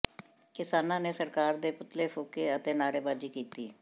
ਕਿਸਾਨਾਂ ਨੇ ਸਰਕਾਰ ਦੇ ਪੁਤਲੇ ਫੂਕੇ ਅਤੇ ਨਾਅਰੇਬਾਜ਼ੀ ਕੀਤੀ